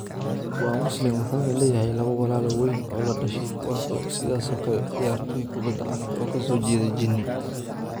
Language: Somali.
Waa Muslim, wuxuuna leeyahay laba walaal weyn oo la dhashay kuwaas oo sidoo kale ah ciyaartoy kubadda cagta oo ka soo jeeda Guinea.